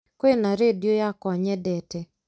kũina rĩndiũ yakwa nyendete